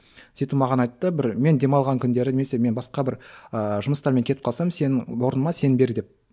сөйтіп маған айтты бір мен демалған күндері немесе мен басқа бір ыыы жұмыстармен кетіп қалсам сен орныма сен бер деп